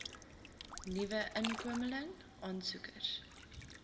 nuwe inkomeling aansoekers